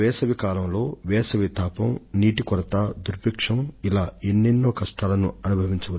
వేసవిలో మండే ఎండలు నీటి ఎద్దడి కరవు పరిస్థితులు ఇంకా ఇలాంటివి అనేకం